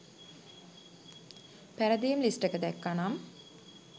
පැරදීම් list එක දැක්කම නම්